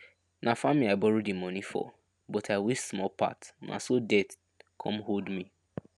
na farming i borrow the money for but i waste small part na so debt come hold me